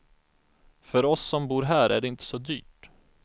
För oss som bor här är det inte så dyrt.